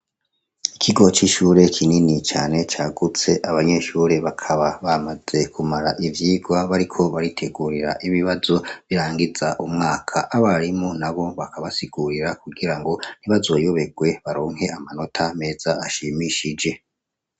Ikigo cishure kinini kandi cagutse abanyeshure bakaba bamaze kumara ivyirwa bariko baritegurira ibibazo birangiza umwaka abarimu nabo bakaba bariko barabasigurira kugirango ntibazoyoberwe baronke amanota meza ashimishijwe